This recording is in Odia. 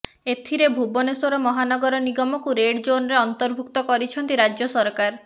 ଏଥିରେ ଭୁବନେଶ୍ୱର ମହାନଗର ନିଗମକୁ ରେଡ୍ ଜୋନ୍ରେ ଅନ୍ତର୍ଭୁକ୍ତ କରିଛନ୍ତି ରାଜ୍ୟ ସରକାର